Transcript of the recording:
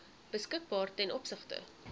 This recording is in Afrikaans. beskikbaar ten opsigte